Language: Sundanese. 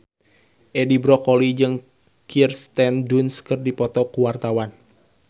Edi Brokoli jeung Kirsten Dunst keur dipoto ku wartawan